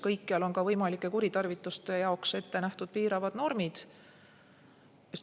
Kõikjal on võimalike kuritarvituste puhuks ette nähtud piiravad normid.